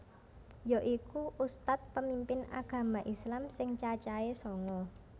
Yaiku ustadz pemimpin agama islam sing cacahe sanga